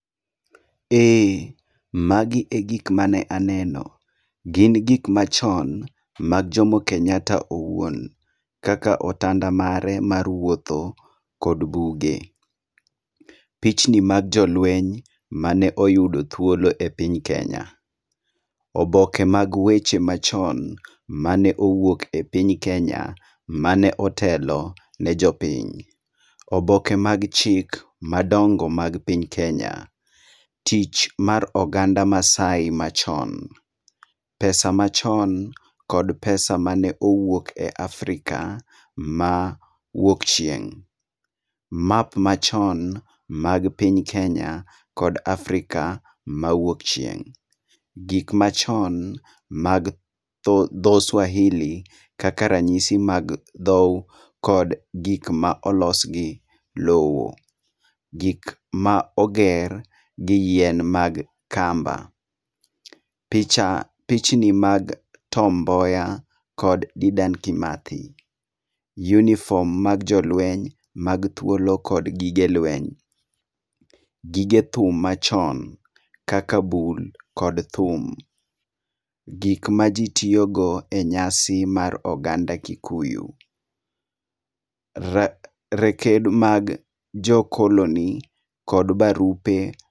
Eh, magi egik mane aneno. Gin gik machon mag Jomo Kenyatta owuon, kaka otanda mare mar wuotho, kod buge, pichnmi mag jolueny mane oyudo thuolo e piny Kenya, oboke mag weche ma chon mane owuok e piny Kenya mane otelo ne jopiny. Oboke mag chik madongo mag piny Kenya. Tich mar oganda Masaai machon. pesa machon kod pesa mane owuok e piny Africa ma wuok chieng'. Map machon mag piny Kenya kod Africa ma wuok chieng'. Gik machon mag dhog Swahili kaka ranyisi mag dhou kod gik ma olos gi lowo. Gik ma oger gi yien mag kamba, picha b pichni mag Tom Mboya kod Dedan Kimathi. Yunifom mag jolueny mag thuolo kod gige lueny. Gige thum machon, kaka bul kod thum. Gik ma ji tiyogo e nyasi mar oganda Kikuyu. Raked mag jo koloni kod barupe.